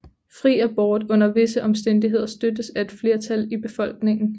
Fri abort under visse omstændigheder støttes af et flertal i befolkningen